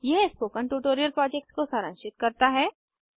यह spoken tutorial project को सारांशित करता है